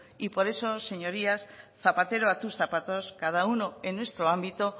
y por eso señorías zapatero a tus zapatos cada uno en nuestro ámbito